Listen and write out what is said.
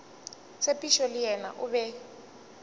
tshepišo le yena o be